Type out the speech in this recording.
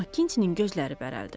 Makintinin gözləri bərəldi.